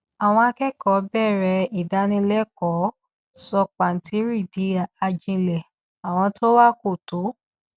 àwọn akẹkọọ bẹrẹ ìdánilẹkọọ sọ pàǹtírí di ajílẹ àwọn tó wá kò tó